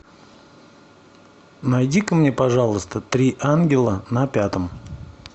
найди ка мне пожалуйста три ангела на пятом